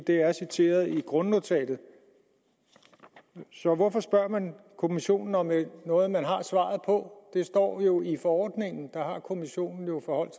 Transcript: det er citeret i grundnotatet så hvorfor spørger man kommissionen om noget man har fået svaret på det står jo i forordningen der har kommissionen jo forholdt